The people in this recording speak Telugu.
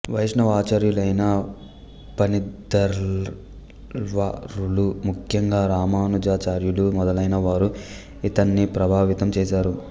వైష్ణవ ఆచార్యులైన పన్నిద్దరాళ్వారులు ముఖ్యంగా రామానుజాచార్యులు మొదలైనవారు ఈతన్ని ప్రభావితం చేశారు